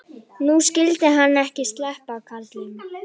Nú skyldi hann ekki sleppa, karlinn.